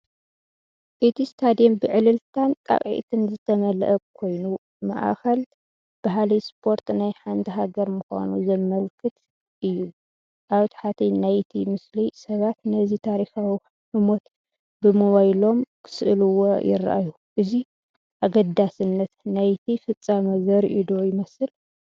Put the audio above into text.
እቲ ስታድየም ብዕልልታን ጣቕዒትን ዝተመልአ ኮይኑ፡ ማእከል ባህሊ ስፖርት ናይ ሓንቲ ሃገር ምዃኑ ዘመልክት እዩ። ኣብ ታሕቲ ናይቲ ምስሊ፡ ሰባት ነዚ ታሪኻዊ ህሞት ብሞባይሎም ክስእልዎ ይረኣዩ፡ እዚ ኣገዳስነት ናይቲ ፍጻመ ዘርኢዶ ይመስል?